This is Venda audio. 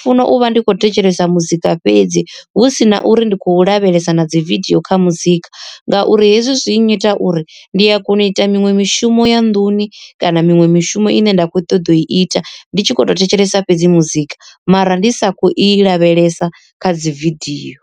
funa uvha ndi khou thetshelesa muzika fhedzi hu si na uri ndi khou lavhelesa na dzi video kha muzika, ngauri hezwi zwi nnyita uri ndi a kona u ita miṅwe mishumo ya nḓuni kana miṅwe mishumo ine nda khou ṱoḓa u i ita ndi tshi khou tou thetshelesa fhedzi muzika mara ndi sakho i lavhelesa kha dzi video.